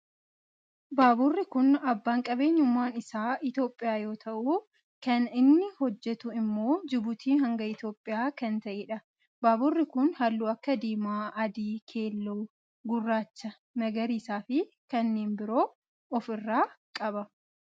Baaburri kun abbaan qabeenyummaa isaa Itiyoophiyaa yoo ta'u kan inni hojjetu immoo jibuutii hanga Itiyoophiyaa kan ta'edha. Baaburri kun halluu akka diimaa, adii keelloo, gurraacha, magariisaa fi kanneen biroo of irraa qaba.